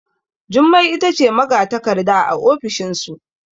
Jummai ita ce magatakarda a ofishinsu